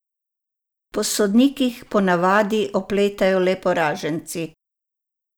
Po sodnikih po navadi opletajo le poraženci.